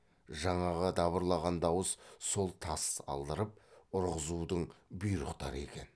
жаңағы дабырлаған дауыс сол тас алдырып ұрғызудың бұйрықтары екен